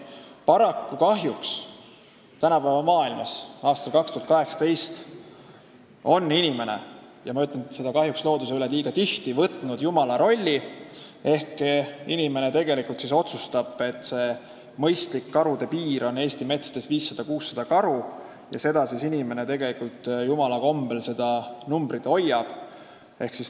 Paraku on kahjuks tänapäeva maailmas, aastal 2018, inimene looduses liigagi tihti võtnud jumala rolli ehk inimene on otsustanud, et mõistlik karude arv Eesti metsades on 500–600, ja jumala kombel nüüd inimene seda arvu hoiab.